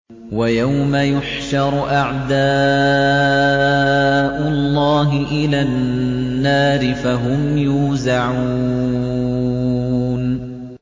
وَيَوْمَ يُحْشَرُ أَعْدَاءُ اللَّهِ إِلَى النَّارِ فَهُمْ يُوزَعُونَ